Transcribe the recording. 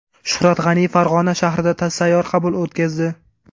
Shuhrat G‘aniyev Farg‘ona shahrida sayyor qabul o‘tkazdi.